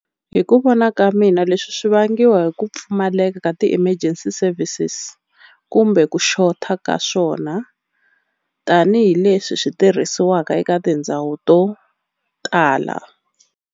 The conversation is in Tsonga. Hi ku vona ka mina leswi swi vangiwa hi ku pfumaleka ka ti-emergency services kumbe ku xota ka swona tanihileswi swi tirhisiwaka eka tindhawu to tala.